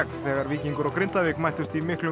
þegar Víkingur og Grindavík mættust í miklum